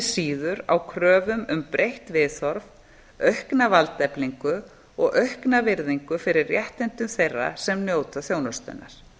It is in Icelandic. síður á kröfum um breytt viðhorf aukna valdeflingu og aukna virðingu fyrir réttindum þeirra sem njóta þjónustunnar